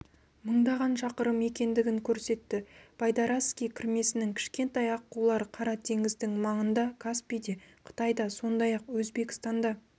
мыңдаған шақырым екендігін көрсетті байдарацкий кірмесінің кішкентай аққулары қара теңіздің маңында каспийде қытайда сондай-ақ өзбекстанда